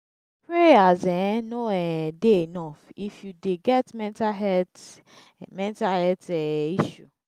prayers um no um dey enough if you dey get mental health mental health um issue.